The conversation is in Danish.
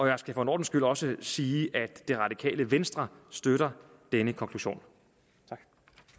jeg skal for en ordens skyld også sige at det radikale venstre støtter denne konklusion tak